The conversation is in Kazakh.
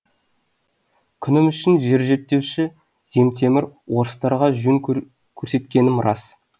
күнім үшін жер зерттеуші земтемір орыстарға жөн көрсеткенім рас